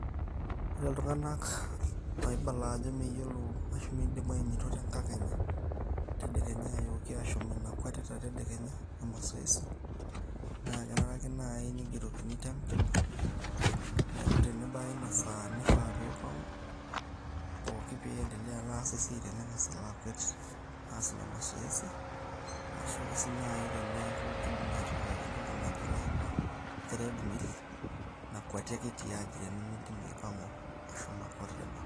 Ore iltunganak oibala ajo meyiolo ashu meidim aanyoito tenkakenya tedekenya aayoki ashom inakwetita tedekenya emasoesi, naa kenarake naai neigerokini timetable[sc] neeku tenebaya inasaa neifaa peibau pooki pieiendelea alaas esiai tenengas aloo aakwet aas ina masoesi, erashuake sii naai teneeku keidimi aatipikaki entoki najo ilashumpa ready meal nakweti ake tiaaji tenimidimu aipang'u ashomo akwata teboo.